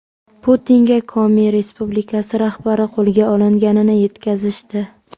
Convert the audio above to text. Putinga Komi Respublikasi rahbari qo‘lga olinganini yetkazishdi.